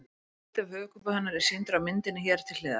Hluti af höfuðkúpu hennar er sýndur á myndinni hér til hliðar.